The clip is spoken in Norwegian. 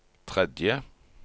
tredje